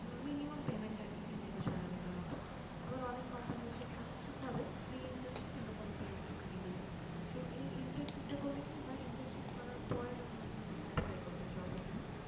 minimum payment আর কি তিন থেকে ছয় হাজারের মতো আবার অনেক company হচ্ছে কাজ শিখাবে free internship কিন্তু কোনো payment আপনাকে দিবে না তো এই internship টা করলে কি হয়, internship করার পর যখন আপনি কোথাও apply করবেন জবের জন্য